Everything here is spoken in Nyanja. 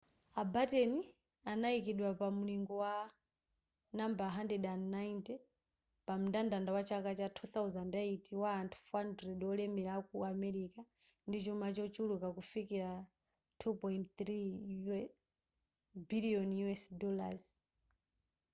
a batten adayikidwa pamulingo wa nambala 190 pamndandanda wa chaka cha 2008 wa anthu 400 wolemera aku america ndi chuma chochuluka kufikira $2.3 biliyoni